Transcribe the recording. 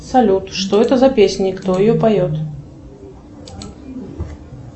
салют что это за песня кто ее поет